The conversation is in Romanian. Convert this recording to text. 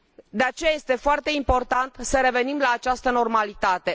De aceea, este foarte important să revenim la această normalitate.